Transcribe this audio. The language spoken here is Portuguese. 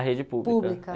Na rede pública... pública